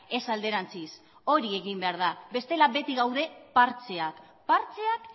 ez alderantziz hori egin behar da bestela beti gaude partxeak partxeak